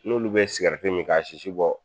N'olu bɛ min k'a sisi bɔ